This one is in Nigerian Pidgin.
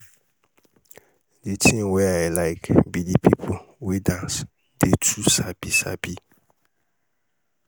the thing wey i like be the people wey dance dey too sabi sabi